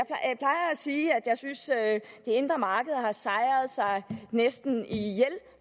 sige at jeg synes at det indre marked har sejret sig næsten ihjel